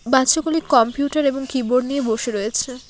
বাচ্চাগুলি computer এবং keyboard নিয়ে বসে রয়েছে।